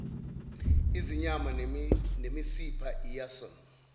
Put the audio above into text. izinyama nemisipha iyason